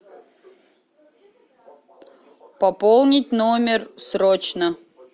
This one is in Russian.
пополнить номер срочно